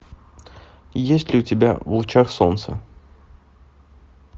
есть ли у тебя в лучах солнца